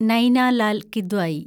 Naina Lal Kidwai